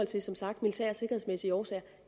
til som sagt militære og sikkerhedsmæssige årsager